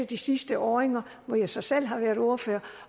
de sidste år hvor jeg så selv har været ordfører